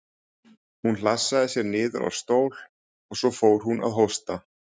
Hún hlassaði sér niður á stól og svo fór hún að hósta.